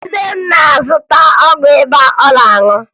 Nne m na-azụta ọgwụ ịba ọ ga-aṅụ